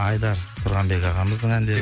айдар тұрғанбек ағамыздың әндері